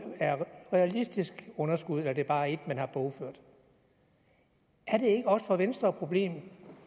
er et realistisk underskud eller om det bare er et man har bogført er det ikke også for venstre et problem